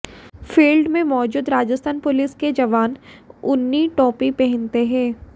field में मौजूद Rajasthan police के जवान ऊनी टॉपी पहनते हैं